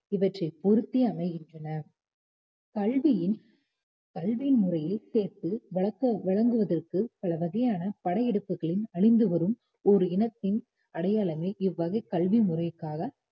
இவற்றை பொறுத்து அமைகின்றன கல்வியின் கல்வி முறையை சேர்த்து வழங்குவதற்கு பல வகையான படையெடுப்புகளின் அழிந்து வரும் ஒரு இனத்தின் அடையாளமே இவ்வகை கல்வி முறைக்காக